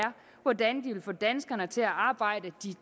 hvordan de vil få danskerne til at arbejde